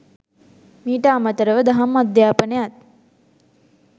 මීට අමතරව දහම් අධ්‍යාපනයත්